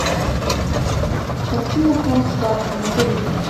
картина холмс ватсон набери